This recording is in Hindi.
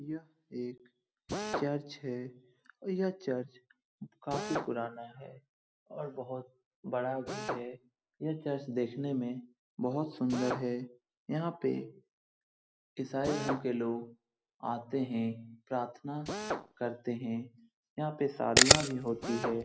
यहां एक चर्च है। यह चर्च काफी पुराना है और बोहोत बड़ा भी है। ये चर्च देखने में बोहोत ही सुंदर है। यहां पे ईसाई धर्म के लोग आते हैं । प्रार्थना भी करते हैं। यहाँ पे साधना भी होती है।